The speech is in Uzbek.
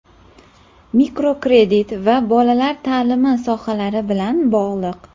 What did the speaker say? mikrokredit va bolalar ta’limi sohalari bilan bog‘liq.